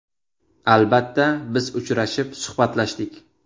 Albatta, biz uchrashib, suhbatlashdik.